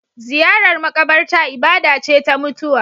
Ziyarar makabarta ibada ce ta mutuwa.